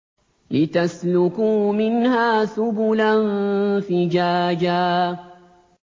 لِّتَسْلُكُوا مِنْهَا سُبُلًا فِجَاجًا